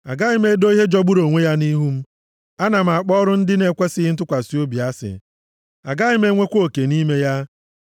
Agaghị m edo ihe jọgburu onwe ya nʼihu m. Ana m akpọ ọrụ ndị na-ekwesighị ntụkwasị obi asị. Agaghị m enwekwa oke nʼime ya.